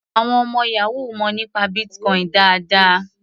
Àwọn ọmọ yahoo mọ̀ nípa Bitcoin dáadáa.